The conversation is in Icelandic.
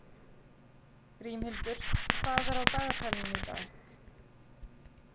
Grímhildur, hvað er á dagatalinu í dag?